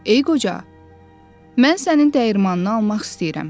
“Ey qoca, mən sənin dəyirmanını almaq istəyirəm.